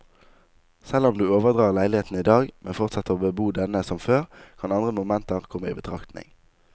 Selv om du overdrar leiligheten i dag, men fortsetter å bebo denne som før, kan andre momenter komme i betraktning.